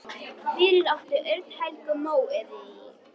Fyrir átti Örn Helgu Móeiði.